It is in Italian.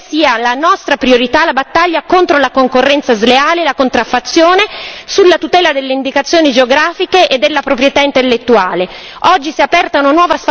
Per questo insistiamo perché sia nostra priorità la battaglia contro la concorrenza sleale e la contraffazione per la tutela delle indicazioni geografiche e della proprietà intellettuale.